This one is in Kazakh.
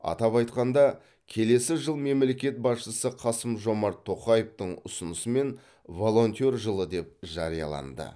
атап айтқанда келесі жыл мемлекет басшысы қасым жомарт тоқаевтың ұсынысымен волонтер жылы деп жарияланды